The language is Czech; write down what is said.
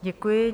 Děkuji.